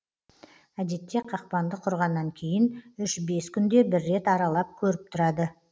әдетте қақпанды құрғаннан кейін үш бес күнде бір рет аралап көріп тұрады